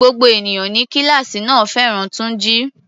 Gbogbo ènìyàn ní kíláàsì náà fẹ́ràn Túnjí.